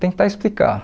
tentar explicar.